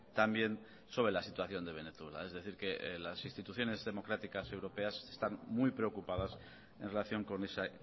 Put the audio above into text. también sobre la situación de venezuela es decir que las instituciones democráticas europeas están muy preocupadas en relación con ese